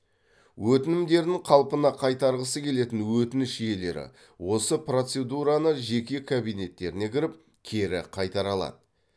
өтінімдерін қалпына қайтарғысы келетін өтініш иелері осы процедураны жеке кабинеттеріне кіріп кері қайтара алады